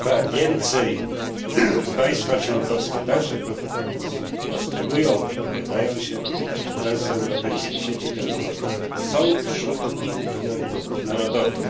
Więcej państwa członkowskie także postulują, wypowiadają się, że transeuropejskie sieci transportowe są wśród ich priorytetów narodowych.